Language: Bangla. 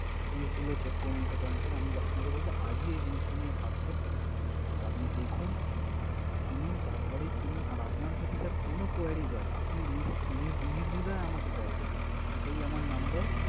জিনিসগুলো check করে নিতে পারেন sir । আমি আপনাকে বলবো আজকে জিনিসটা নিয়ে ভাবতে। আর আপনি দেখুন, শুনুন তারপরেই কিনুন। আর আপনার যদি sir কোন querys হয়, আপনি নিশ্চ~ নির~ নির্দ্বিধায় আমাকে call করবেন sir । এটাই আমার number